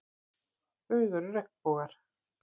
Þau eru regnbogar.